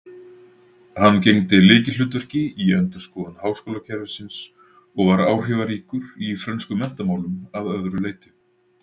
Hann gegndi lykilhlutverki í endurskoðun háskólakerfisins og var áhrifaríkur í frönskum menntamálum að öðru leyti.